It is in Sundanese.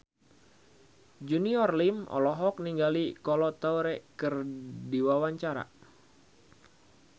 Junior Liem olohok ningali Kolo Taure keur diwawancara